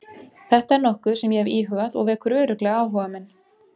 Þetta er nokkuð sem ég hef íhugað og vekur örugglega áhuga minn.